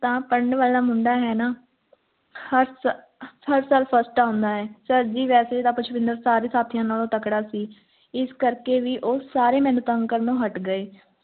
ਤਾਂ ਪੜ੍ਹਨ ਵਾਲਾ ਮੁੰਡਾ ਹੈ ਨਾ ਹਰ ਸਾਹਰ ਸਾਲ first ਆਉਣਾ ਹੈ sir ਜੀ ਵੈਸੇ ਤਾਂ ਪੁਸ਼ਪਿੰਦਰ ਸਾਰੇ ਸਾਥੀਆਂ ਨਾਲੋਂ ਤਗੜਾ ਸੀ ਇਸ ਕਰਕੇ ਵੀ ਉਹ ਸਾਰੇ ਮੈਨੂੰ ਤੰਗ ਕਰਨ ਤੋਂ ਹਟ ਗਏ